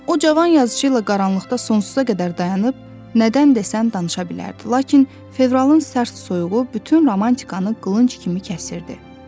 O, cavan yazıçı ilə qaranlıqda sonsuza qədər dayanıb nədən desən danışa bilərdi, lakin fevralın sərt soyuğu bütün romantikanı qılınc kimi kəsirdi.